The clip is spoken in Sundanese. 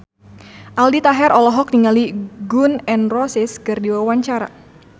Aldi Taher olohok ningali Gun N Roses keur diwawancara